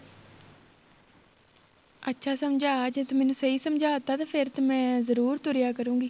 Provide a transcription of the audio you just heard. ਅੱਛਾ ਸਮਝਾ ਜ਼ੇ ਤੂੰ ਮੈਨੂੰ ਸਹੀਂ ਸਮਝਾ ਤਾਂ ਫ਼ੇਰ ਤੇ ਮੈਂ ਜਰੂਰ ਤੁਰਿਆ ਕਰੂਗੀ